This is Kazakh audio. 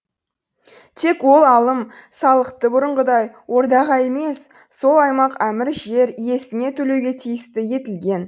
тек ол алым салықты бұрынғыдай ордаға емес сол аймақ әмір жер иесіне төлеуге тиісті етілген